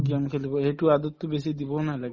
game খেলিব সেইটো aadat তো বেছি দিবও নালাগে